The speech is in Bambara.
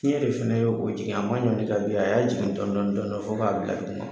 Fiɲɛ de fana ye o jigin a m'a ɲɔnti k'a bin, a y'a jigin dɔɔni dɔɔni fo k'a bila duguma.